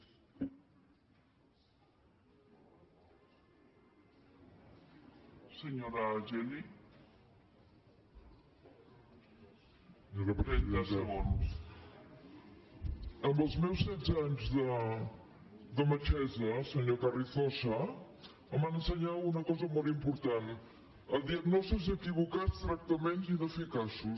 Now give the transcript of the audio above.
en els meus setze anys de metgessa senyor carrizosa em van ensenyar una cosa molt important a diagnòstics equivocats tractaments ineficaços